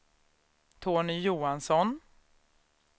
Tony Johansson